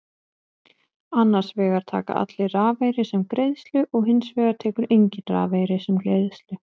Annars vegar taka allir rafeyri sem greiðslu og hins vegar tekur enginn rafeyri sem greiðslu.